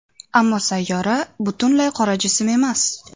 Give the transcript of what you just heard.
Ammo sayyora butunlay qora jism emas.